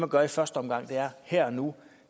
gør i første omgang og her og nu